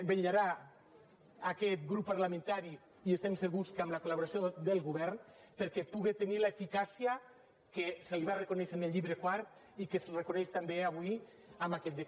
vetllarà aquest grup parlamentari i estem segurs que amb la col·laboració del govern perquè puga tenir l’eficàcia que se li va reconèixer en el llibre quart i que es reconeix també avui amb aquest decret llei